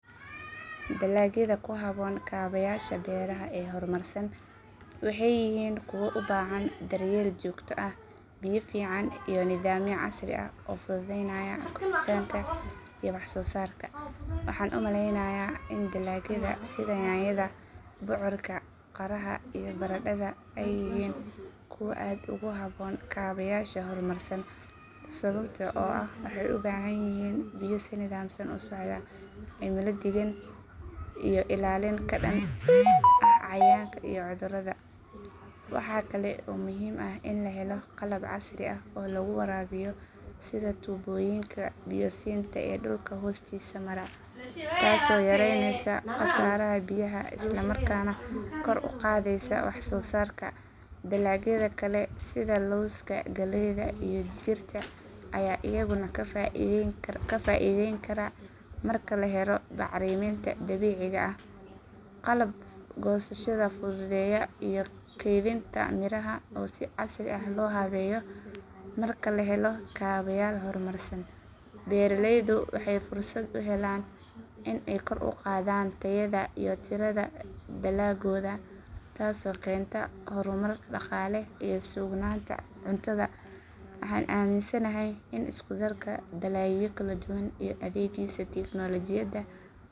Dalagyada ku habboon kaabayaasha beeraha ee horumarsan waxay yihiin kuwa u baahan daryeel joogto ah, biyo fiican, iyo nidaamyo casri ah oo fududeynaya koritaanka iyo waxsoosaarka. Waxaan u malaynayaa in dalagyada sida yaanyada, bocorka, qaraha, iyo baradhada ay yihiin kuwo aad ugu habboon kaabayaasha horumarsan. Sababta oo ah waxay u baahan yihiin biyo si nidaamsan u socda, cimilo deggan, iyo ilaalin ka dhan ah cayayaanka iyo cudurrada. Waxaa kale oo muhiim ah in la helo qalab casri ah oo lagu waraabiyo sida tuubooyinka biyo siinta ee dhulka hoostiisa mara, taasoo yaraynaysa khasaaraha biyaha isla markaana kor u qaadaysa waxsoosaarka. Dalagyada kale sida lowska, galleyda, iyo digirta ayaa iyaguna ka faa’iidayn kara marka la helo bacriminta dabiiciga ah, qalab goosashada fududeeya, iyo kaydinta miraha oo si casri ah loo habeeyo. Marka la helo kaabayaal horumarsan, beeraleydu waxay fursad u helaan in ay kor u qaadaan tayada iyo tirada dalaggooda, taasoo keenta horumar dhaqaale iyo sugnaanta cuntada.